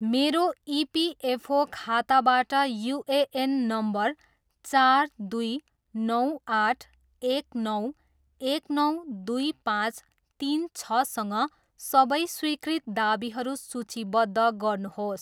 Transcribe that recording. मेरो इपिएफओ खाताबाट UAN number चार दुई नौ आठ एक नौ एक नौ दुई पाँच तिन छसँग सबै स्वीकृत दावीहरू सूचीबद्ध गर्नुहोस्।